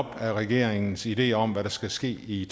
regeringens ideer om hvad der skal ske i